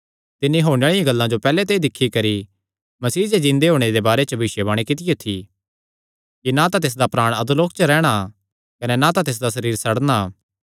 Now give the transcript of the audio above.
तिन्नी होणे आल़ी गल्ला जो पैहल्ले ते ई दिक्खी करी मसीह दे जिन्दे होणे दे बारे च भविष्यवाणी कित्तियो थी कि नां तां तिसदा प्राण अधोलोक च रैहणा कने ना तां तिसदा सरीर सड़नां